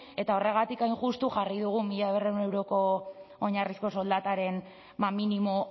eta horregatik hain justu jarri dugu mila berrehun euroko oinarrizko soldataren minimo